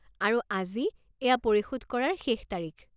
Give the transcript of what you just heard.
আৰু আজি এইয়া পৰিশোধ কৰাৰ শেষ তাৰিখ।